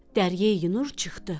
Dəryəyi Nur çıxdı.